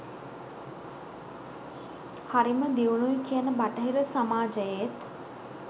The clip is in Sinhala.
හරිම දියුණුයි කියන බටහිර සමාජයේත්